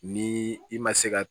Ni i ma se ka